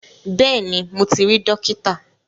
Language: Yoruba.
Bẹ́ẹ̀ni mo ti rí Dókítà